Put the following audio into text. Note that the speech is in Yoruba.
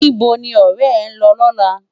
Nibó ni òrè è n lò lòlá?